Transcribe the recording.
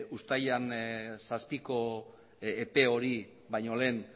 uztailaren zazpiko epe hori baino lehen